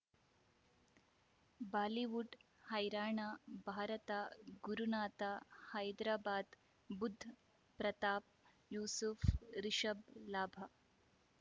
Bollywood ಹೈರಾಣ ಭಾರತ ಗುರುನಾಥ ಹೈದರಾಬಾದ್ ಬುಧ್ ಪ್ರತಾಪ್ ಯೂಸುಫ್ ರಿಷಬ್ ಲಾಭ